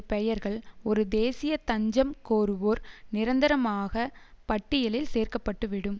பெயர்கள் ஒரு தேசிய தஞ்சம் கோருவோர் நிரந்தரமாக பட்டியலில் சேர்க்கப்பட்டுவிடும்